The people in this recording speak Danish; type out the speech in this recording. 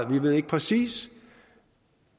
vi ved ikke præcis